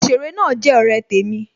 Òsèré náà jẹ ọ̀rẹ́ temi